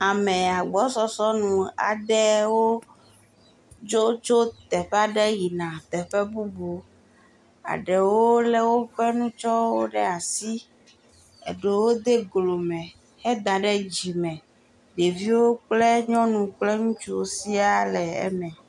Ame agbɔsɔsɔ aɖe tso tso teƒe aɖe va yina teƒe bubu. Eɖewo le woƒe nutsɔwo ɖe asi. Eɖewo de golo me he da ɖe dzi. Ɖeviwo kple nyɔnuwo kple ŋutsuwo sĩa le eme.